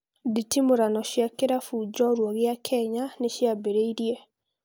Nditimũrano cia kĩrabu njorua gĩa Kenya nĩ ciambĩrĩirie